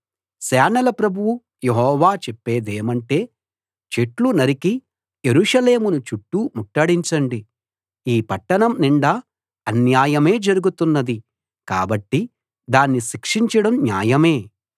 సేనల ప్రభువు యెహోవా చెప్పేదేమంటే చెట్లు నరికి యెరూషలేమును చుట్టూ ముట్టడించండి ఈ పట్టణం నిండా అన్యాయమే జరుగుతున్నది కాబట్టి దాన్ని శిక్షించడం న్యాయమే